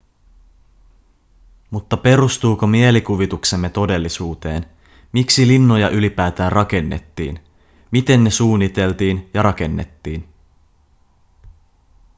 mutta perustuuko mielikuvituksemme todellisuuteen miksi linnoja ylipäätään rakennettiin miten ne suunniteltiin ja rakennettiin